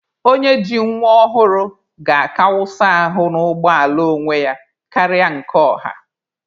Onye ji nwa ọhụrụ ga-aka wụsa ahụ na ụgbọ ala onwe ya karịa nke ọha